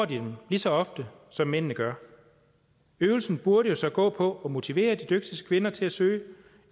de dem lige så ofte som mændene gør øvelsen burde jo så gå på at motivere de dygtigste kvinder til at søge og